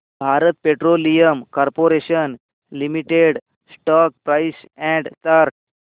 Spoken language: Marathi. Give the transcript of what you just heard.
Bharat petroleum corporation limited stock price and chart